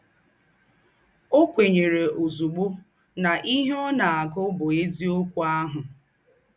Ọ́ kwènyèrè ózùgbó ná íhe ọ́ ná-àgù bụ́ ézíọ́kù àhụ̀.